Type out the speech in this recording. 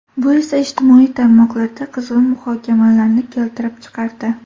Bu esa ijtimoiy tarmoqlarda qizg‘in muhokamalarni keltirib chiqardi.